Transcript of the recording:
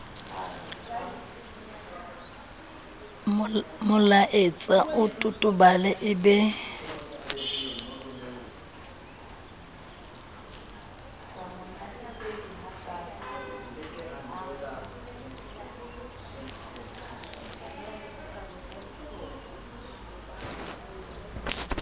molaetsa o totobale e be